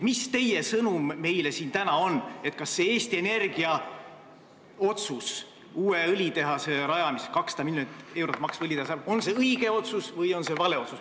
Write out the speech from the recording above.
Mis teie sõnum meile täna on, kas Eesti Energia otsus rajada uus, 200 miljonit eurot maksev õlitehas on õige või vale otsus?